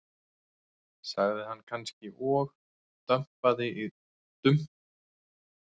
sagði hann kannski og dumpaði í tóbaksdósina sína og skellti vænum slurk í hvora nös.